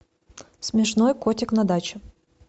смешной котик на даче